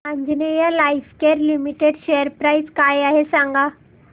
Anjaneya Lifecare limited share price काय आहे सांगा